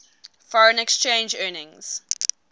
foreign exchange earnings